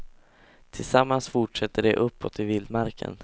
Tillsammans fortsätter de uppåt i vildmarken.